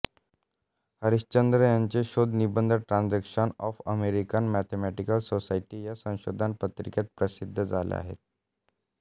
हरिश्चंद्र यांचे शोधनिबंध Transactions of American Mathematical Society या संशोधन पत्रिकेत प्रसिद्ध झाले आहेत